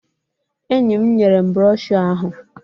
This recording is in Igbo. Enyi m nyere m brọshọ ahụ